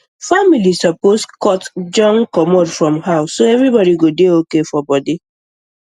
families suppose cut junk comot from house so everybody go dey okay for body